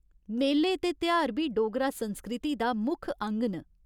मेले ते तेहार बी डोगरा संस्कृति दा मुक्ख अंग न।